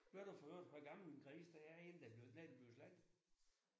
Ved du for øvrigt hvor gammel en gris den er inden den bliver når den bliver slagtet?